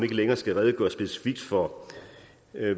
længere skal redegøre specifikt for